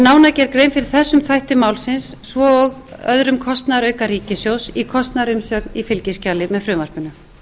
fyrir þessum þætti málsins svo og öðrum kostnaðarauka ríkissjóðs í kostnaðarumsögn í fylgiskjali með frumvarpinu